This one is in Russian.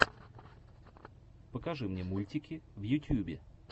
покажи мне мультики в ютьюбе